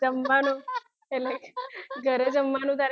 જમવાનુ એટલે ઘરે જમવાનું